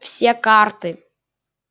все карты